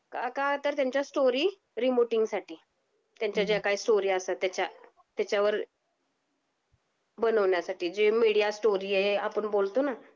का तर त्यांच्या स्टोरी रिपोर्टिंग साठी त्यांच्या ज्या काही स्टोरी असतात त्याच्या वर बनवण्या साठी. जे मीडिया स्टोरी आहे आपण बोलतोना